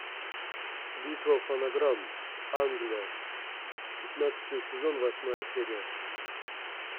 битва фонограмм англия пятнадцатый сезон восьмая серия